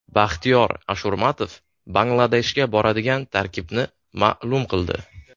Baxtiyor Ashurmatov Bangladeshga boradigan tarkibni ma’lum qildi.